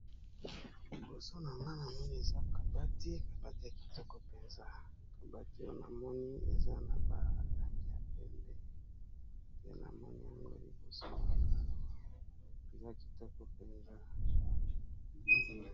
Liboso nanga na moni eza kabati kabati ya kitoko mpenza kabati namoni eza na ba langi ya pembe pe na moni yango liboso na nga awa eza kitoko mpenza.